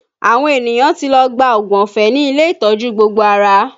Àwọn ènìyàn ti lọ gba oògùn ọ̀fẹ́ ní ilé ìtọ́jú gbogbo ara